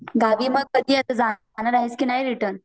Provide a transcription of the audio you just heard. गावी मग कधी आता, जाणार आहेस की नाही रिटर्न?